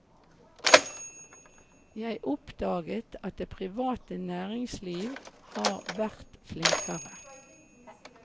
Jeg oppdaget at det private næringsliv har vært flinkere.